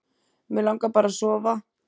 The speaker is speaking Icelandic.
Mig langar bara að sofa.